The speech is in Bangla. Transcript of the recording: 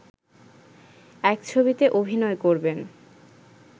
এক ছবিতে অভিনয় করবেন